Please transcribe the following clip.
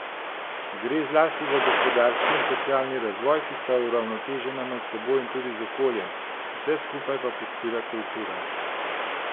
Gre zlasti za gospodarski in socialni razvoj, ki sta uravnotežena med seboj in tudi z okoljem, vse skupaj pa podpira kultura.